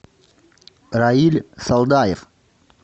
раиль салдаев